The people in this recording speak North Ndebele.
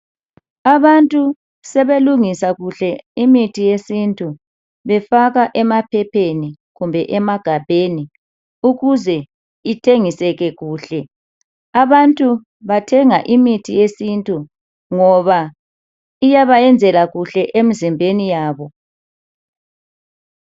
Abantu sebelungisa kuhle imithi yesintu befaka emaphepheni kumbe emagabheni ukuze ithengiseke kuhle. Abantu bathenga imithi yesintu ngoba iyabayenzela kuhle emzimbeni yabo.